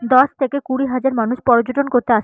দশ থেকে কুড়ি হাজার মানুষ পর্যটন করতে আসে।